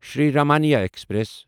Shri Ramayana express